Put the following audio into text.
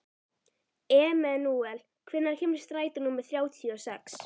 Emanúel, hvenær kemur strætó númer þrjátíu og sex?